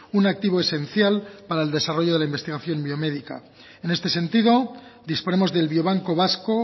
un activo esencial para el desarrollo de la investigación biomédica en este sentido disponemos del biobanco vasco